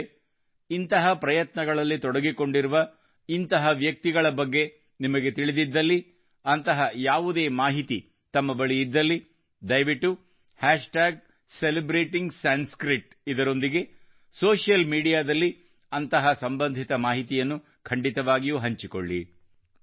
ಸ್ನೇಹಿತರೇ ಇಂತಹ ಪ್ರಯತ್ನಗಳಲ್ಲಿ ತೊಡಗಿಕೊಂಡಿರುವ ಇಂತಹ ವ್ಯಕ್ತಿಯ ಬಗ್ಗೆ ನಿಮಗೆ ತಿಳಿದಿದ್ದಲ್ಲಿ ಅಂತಹ ಯಾವುದೇ ಮಾಹಿತಿ ತಮ್ಮ ಬಳಿ ಇದ್ದಲ್ಲಿ ದಯವಿಟ್ಟು ಸೆಲೆಬ್ರೇಟಿಂಗ್ಸಂಸ್ಕೃತ್ ನೊಂದಿಗೆ ಸೋಶಿಯಲ್ ಮೀಡಿಯಾ ದಲ್ಲಿ ಅಂತಹ ಸಂಬಂಧಿತ ಮಾಹಿತಿಯನ್ನು ಖಂಡಿತವಾಗಿಯೂ ಹಂಚಿಕೊಳ್ಳಿ